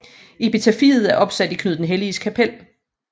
Epitafiet er opsat i Knud den Helliges kapel